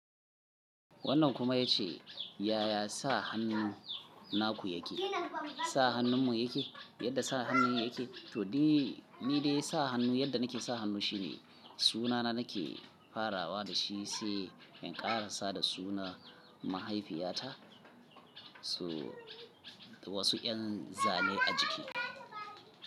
Wannan kuma ya ce, “Yaya sa hannu naku yake? Sa hannunmu yake? Yadda sa hannun yake?” To, ni dai sa hannu yadda nake sa hannu shine sunana nake farawa da shi, sai in ƙara sada suna mahaifiyata. So wasu yan zane a jiki.